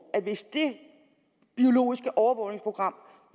og hvis det biologiske overvågningsprogram